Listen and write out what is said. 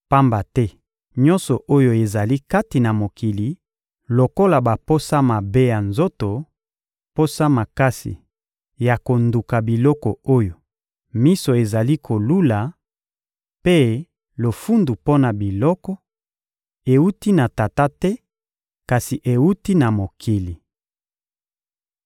pamba te nyonso oyo ezali kati na mokili, lokola baposa mabe ya nzoto, posa makasi ya konduka biloko oyo miso ezali kolula, mpe lofundu mpo na biloko; ewuti na Tata te, kasi ewuti na mokili.